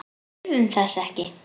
Við þurfum þess ekki.